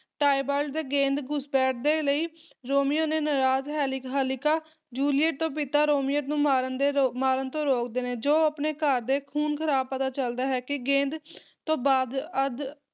Tybalt ਗੇਂਦ ਘੁਸਪੈਠ ਦੇ ਲਈ ਰੋਮੀਓ ਨੇ ਨਰਾਜ ਹੈਲੀ ਹਾਲਾਕਿ ਜੂਲੀਅਟ ਦੇ ਪਿਤਾ ਰੋਮੀਓ ਨੂੰ ਮਾਰਨ ਦੇ ਮਾਰਨ ਤੋਂ ਰੋਕਦੇ ਨੇ ਜੋ ਆਪਣੇ ਘਰ ਦੇ ਖੂਨ ਖਰਾਬ ਪਤਾ ਚਲਦਾ ਹੈ ਕੀ ਗੇਂਦ ਤੋਂ ਬਾਅਦ, ਅੱਜ